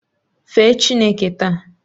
Fee Chineke taa!